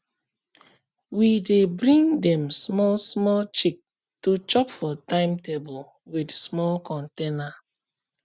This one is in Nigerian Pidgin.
we dey bring dem small small chick to chop for timetable with small container